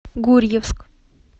гурьевск